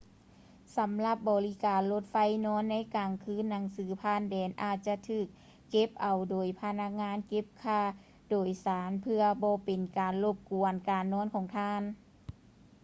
ສຳລັບບໍລິການລົດໄຟນອນໃນກາງຄືນໜັງສືຜ່ານແດນອາດຈະຖືກເກັບເອົາໂດຍພະນັກງານເກັບຄ່າໂດຍສານເພື່ອບໍ່ເປັນການລົບກວນການນອນຂອງທ່ານ